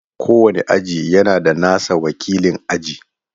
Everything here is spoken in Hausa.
Kowane aji yana da nasa wakilin aji.